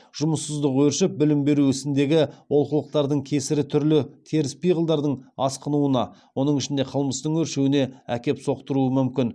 жұмыссыздық өршіп білім беру ісіндегі олқылықтардың кесірі түрлі теріс пиғылдардың асқынуына оның ішінде қылмыстың өршуіне әкеп соқтыруы мүмкін